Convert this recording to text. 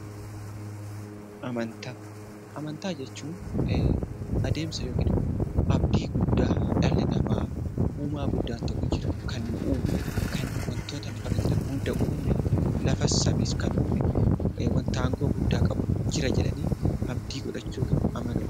Amantaa jechuun abdii guddaa dhalli namaa uumaan guddaan tokko Jira kan nu uume kan wantoota lafarra jiran hundumaa uume lafas samiis kan uume wanti aangoo guddaa qabu jira jedhanii amanuudha.